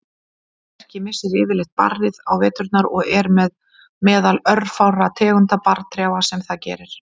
Lerki missir yfirleitt barrið á veturna og er meðal örfárra tegunda barrtrjáa sem það gerir.